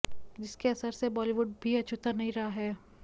जिसके असर से बालीवुड भी अछूता नहीं रहा है